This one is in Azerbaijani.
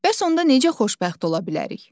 Bəs onda necə xoşbəxt ola bilərik?